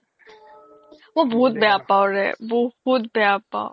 মই বহুত বেয়া পও ৰে বহুত বেয়া পও